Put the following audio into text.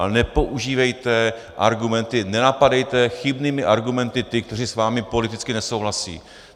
Ale nepoužívejte argumenty, nenapadejte chybnými argumenty ty, kteří s vámi politicky nesouhlasí.